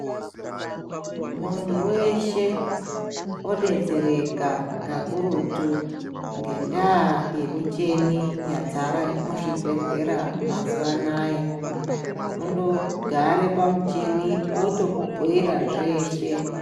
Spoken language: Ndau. Muntu weshe odetsereka kakurutu ngendaa yemichini yazara muzvibhedhlera mazuvano aye kungogare pamuchini otokubhoira zveshe.